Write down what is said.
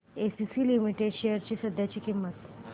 ACC limited shares ची सध्याची किंमत